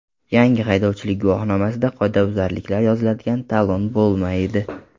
Yangi haydovchilik guvohnomasida qoidabuzarliklar yoziladigan talon bo‘lmaydi.